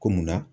Ko munna